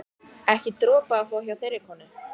Ekki dropa að fá hjá þeirri konu.